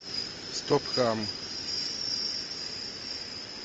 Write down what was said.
стоп хам